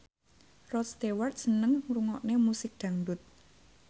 Rod Stewart seneng ngrungokne musik dangdut